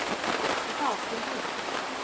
Og þá kom hún.